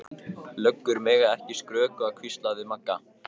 Löggur mega ekki skrökva, hvíslaði Magga.